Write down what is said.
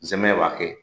Nsɛmɛ b'a kɛ